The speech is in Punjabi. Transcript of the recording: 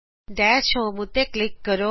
ਦਸ਼ ਹੋਮ ਉੱਤੇ ਕਲਿਕ ਕਰੋ